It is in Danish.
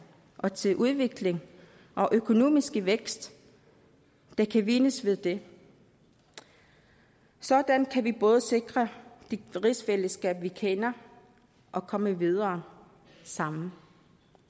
og til udvikling og økonomisk vækst der kan vindes ved det sådan kan vi både sikre det rigsfællesskab vi kender og komme videre sammen